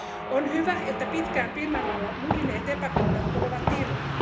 On hyvä, että pitkään pinnan alla muhineet epäkohdat tulevat ilmi.